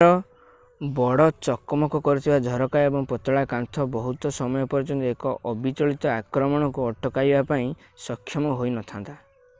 ଏହାର ବଡ ଚକମକ କରୁଥିବା ଝରକା ଓ ପତଳା କାନ୍ଥ ବହୁତ ସମୟ ପର୍ଯ୍ୟନ୍ତ ଏକ ଅବିଚଳିତ ଆକ୍ରମଣକୁ ଅଟକାଇବା ପାଇଁ ସକ୍ଷମ ହୋଇନଥାନ୍ତା